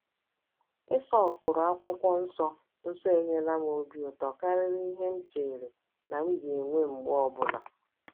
Iso ụkpụrụ akwụkwọ nsọ nsọ enyela m obi ụtọ karịrị ihe m chere na m ga-enwe mgbe ọ bụla! ”